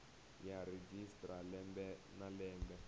ya registrar lembe na lembe